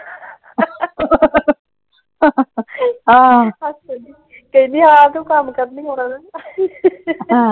ਕਹਿੰਦੀ ਆ ਤੂੰ ਕੰਮ ਕਰਨ ਹੀ ਆਉਣਾ ਨਾ।